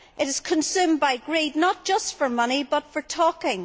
It is consumed by greed not just for money but for talking.